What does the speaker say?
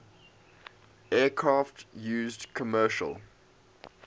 aircraft used commercial